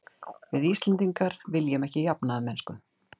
Við Íslendingar viljum ekki jafnaðarmennsku.